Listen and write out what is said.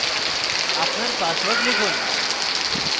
আপনার পাসওয়ার্ড লিখুন